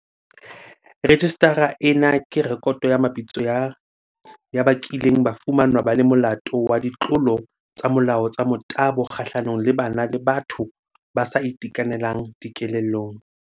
Rejistara ena ke rekoto ya mabitso ya ba kileng ba fumanwa ba le molato wa ditlolo tsa molao tsa motabo kgahlanong le bana le batho ba sa itekanelang dikelellong.